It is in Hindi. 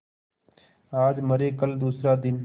आज मरे कल दूसरा दिन